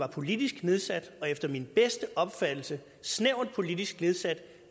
var politisk nedsat og efter min bedste opfattelse snævert politisk nedsat